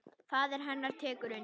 Faðir hennar tekur undir.